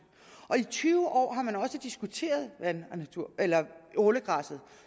og i tyve år har man også diskuteret ålegræsset